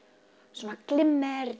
svona glimmer